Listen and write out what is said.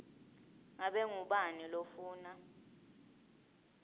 ngabe ngubani lofuna